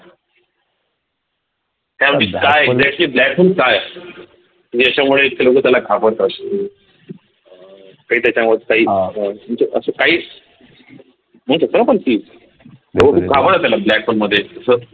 blackhole काय असत? याच्यामुळे इतक लोक त्याला घाबरतात अह काही त्याच्यावर काही म्हणजे असे काही म्हणू शकतो ना आपण की त्याला black hole मध्ये अस